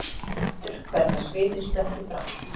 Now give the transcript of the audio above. Hún finnur hvernig svitinn sprettur fram.